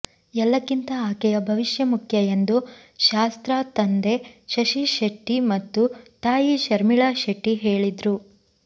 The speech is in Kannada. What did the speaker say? ಎಲ್ಲಕ್ಕಿಂತ ಆಕೆಯ ಭವಿಷ್ಯ ಮುಖ್ಯ ಎಂದು ಶಾಸ್ತ್ರಾ ತಂದೆ ಶಶಿ ಶೆಟ್ಟಿ ಮತ್ತು ತಾಯಿ ಶರ್ಮಿಳಾ ಶೆಟ್ಟಿ ಹೇಳಿದ್ರು